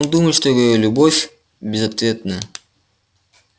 он думает что его любовь безответная